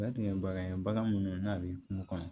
O bɛɛ tun ye bagan ye bagan minnu n'a b'i kun kɔnɔ